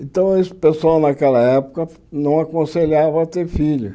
Então, o pessoal naquela época não aconselhava ter filhos.